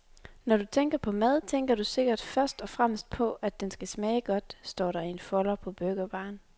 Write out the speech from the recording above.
Når du tænker på mad, tænker du sikkert først og fremmest på, at den skal smage godt, står der i en folder på burgerbaren.